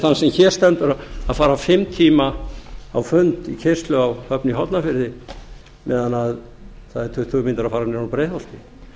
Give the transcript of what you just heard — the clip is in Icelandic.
þann sem hér stendur að fara fimm tíma keyrslu á fund í hornafirði meðan það eru tuttugu mínútur að fara ofan úr breiðholti